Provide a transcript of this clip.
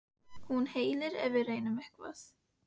Hún hellir ef við reynum eitthvað.